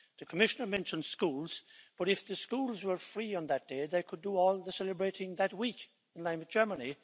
The Commissioner mentioned schools, but if the schools were free on that day they could do all the celebrating that week, in line with Germany.